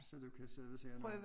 Så du kan sidde og sige noget